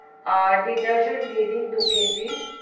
আর detergent দিয়ে দিন দু KG,